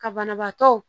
Ka banabaatɔ